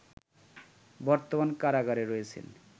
বর্তমানে কারাগারে রয়েছেন